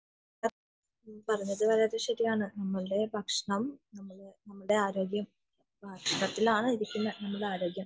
പറഞ്ഞത് ശരിയാണ് നമ്മളെ ഭക്ഷണ രീതി നമ്മളെ ആരോഗ്യം